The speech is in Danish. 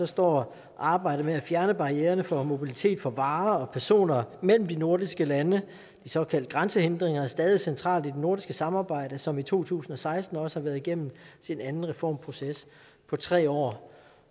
står arbejdet med at fjerne barriererne for mobilitet for varer og personer mellem de nordiske lande de såkaldte grænsehindringer stadig centralt i det nordiske samarbejde som i to tusind og seksten også har været igennem sin anden reformproces på tre år